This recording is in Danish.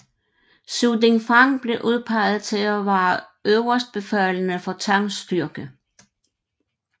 Su Dingfang blev udpeget til at være øverstbefalende for Tangs styrke